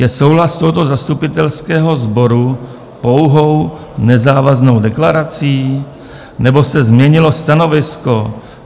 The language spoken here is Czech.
Je souhlas tohoto zastupitelského sboru pouhou nezávaznou deklarací, nebo se změnilo stanovisko?